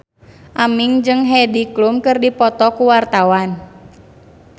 Aming jeung Heidi Klum keur dipoto ku wartawan